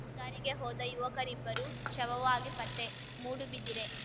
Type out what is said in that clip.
ಶಿಕಾರಿಗೆ ಹೋದ ಯುವಕರಿಬ್ಬರು ಶವವಾಗಿ ಪತ್ತೆ ಮೂಡುಬಿದಿರೆ